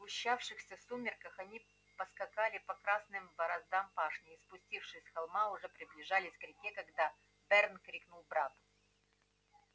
в сгущавшихся сумерках они поскакали по красным бороздам пашни и спустившись с холма уже приближались к реке когда берн крикнул брату